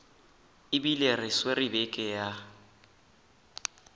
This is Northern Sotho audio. ebile re swere beke ya